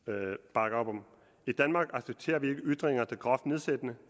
bakker op om i danmark accepterer vi ikke ytringer der groft nedsættende